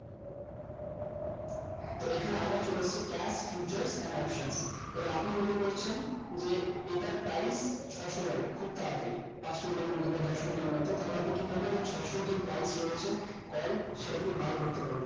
তো এখানে আবার চলে আসছে cap feature and option এবার আপনি মনে করছেন যে ইটা price ছসো হবে খুব তাড়াতাড়ি পাঁচ minute এর মধ্যে বা দশ minute এর মধ্যে তাহলে আপনি কি করবেন ওই ছসোর যে price রয়েছে call সেটা তুমি বার করতে পারবে